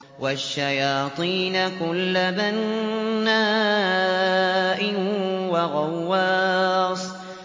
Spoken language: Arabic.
وَالشَّيَاطِينَ كُلَّ بَنَّاءٍ وَغَوَّاصٍ